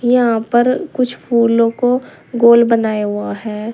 यहां पर कुछ फूलों को गोल बनाया हुआ है।